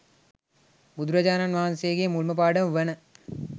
බුදුරජාණන් වහන්සේගේ මුල්ම පාඩම වන